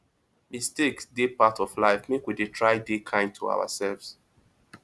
mistakes dey part of life make we dey try dey kind to ourselves